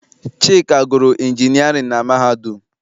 Chika gụrụ injinịarịn na mahadum.